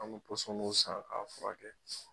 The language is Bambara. An kun k'o san k'a furakɛ.